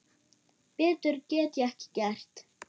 Betur get ég ekki gert.